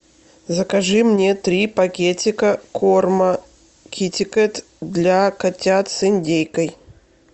закажи мне три пакетика корма китикет для котят с индейкой